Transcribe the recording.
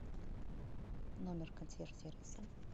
номер консьерж сервиса